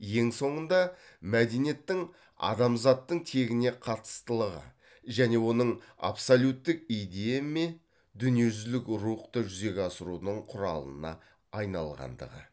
ең соңында мәдениеттің адамзаттың тегіне қатыстылығы және оның абсолюттік идея ме дүниежүзілік рухты жүзеге асырудың құралына айналғандығы